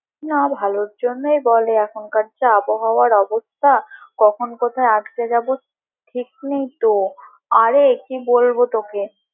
না ভালোর জন্যই বলে এখনকার যা আবহাওয়ার অবস্থা কখন কোথায় আটকে যাবো ঠিক নেই তো আরে কি বলবো তোকে।